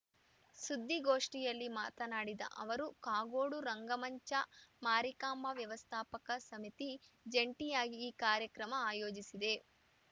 ಸುದ್ದಿಗೋಷ್ಠಿಯಲ್ಲಿ ಮಾತನಾಡಿದ ಅವರು ಕಾಗೋಡು ರಂಗಮಂಚ ಮಾರಿಕಾಂಬಾ ವ್ಯವಸ್ಥಾಪಕ ಸಮಿತಿ ಜಂಟಿಯಾಗಿ ಈ ಕಾರ್ಯಕ್ರಮ ಆಯೋಜಿಸಿದೆ